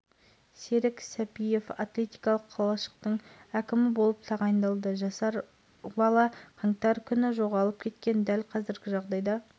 мектептен шығып үйге келмеген сегізінші сыныпта екінші ауысымда оқиды түнде баланың жоғалғандығы туралы өтініш жаздық қазір